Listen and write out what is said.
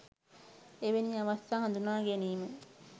එවැනි අවස්ථා හදුනා ගැනීම